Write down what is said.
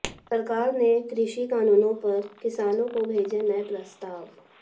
सरकार ने कृषि कानूनों पर किसानों को भेजे नए प्रस्ताव